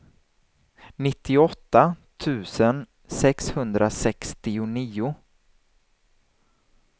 nittioåtta tusen sexhundrasextionio